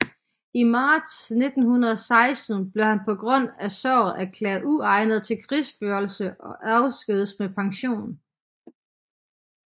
I marts 1916 bliver han på grund af såret erklæret uegnet til krigsførelse og afskediges med pension